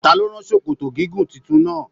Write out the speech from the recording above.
Ta ló rán sòkòtò gígùn títún náa?